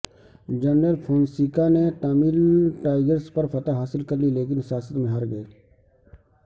general Fonseka نے Tamil Tigers پر فتح حاصل کر لی لیکن سیاست میں ہار گئے